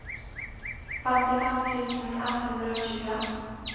femtifem tusen ett hundre og tjue